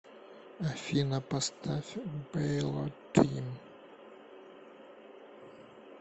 афина поставь бэйлотим